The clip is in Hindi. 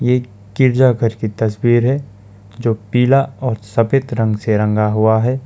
ये गिरजाघर की तस्वीर है जो पीला और सफेद रंग से रंगा हुआ है।